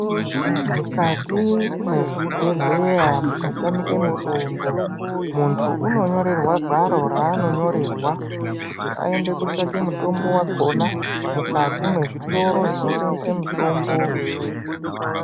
Mukati mwezvibhedhleya mukatamike mutombo, muntu unonyorerwa gwaro raanonyorerwa kuti ayinde kotsvake mutombo wakona mukati mwezvitoro zvinotengesa mitombo.